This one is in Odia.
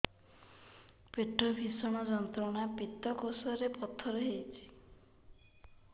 ପେଟ ଭୀଷଣ ଯନ୍ତ୍ରଣା ପିତକୋଷ ରେ ପଥର ହେଇଚି